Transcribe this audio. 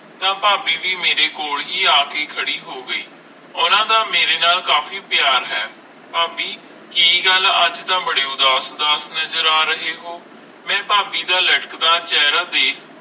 ਤਾ ਫਾਬੀ ਵੀ ਮੇਰੇ ਕੋਲ ਹੈ ਆ ਕੇ ਖਾਰੀ ਹੋ ਗਈ ਓਹਨਾ ਦਾ ਮੇਰੇ ਨਾਲ ਕਾਫੀ ਪਿਆਰ ਆਈ ਫਾਬੀ ਕਿ ਗੱਲ ਆਈ ਅਜੇ ਤਾ ਬਾਰੇ ਉਦਾਸ ਉਦਾਸ ਨਾਜਰ ਆ ਰਹੇ ਹੋ ਮਈ ਫਾਬੀ ਦਾ ਲਟਕਦਾ ਚੇਹਰਾ ਦੇਖ